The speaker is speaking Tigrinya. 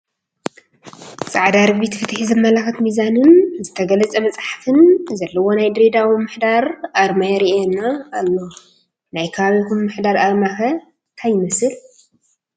ፃድዳ ርግቢት፣ ፍትሒ ዘመላኽት ሚዛንን ዝተገለፀ መፅሓፍን ዘለዎ ናይ ድሬዳዋ ምምሕዳር ኣርማ ይርአየና ኣሎ፡፡ ናይ ከባቢኹም ምምሕዳር ኣርማ ከ እንታይ ይመስል?